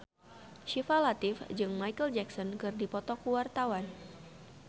Syifa Latief jeung Micheal Jackson keur dipoto ku wartawan